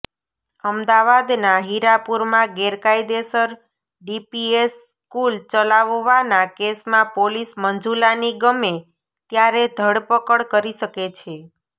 અમદાવાદના હીરાપુરમાં ગેરકાયદેસર ડીપીએસ સ્કુલ ચલાવવાના કેસમાં પોલીસ મંજુલાની ગમે ત્યારે ધરપકડ કરી શકે છે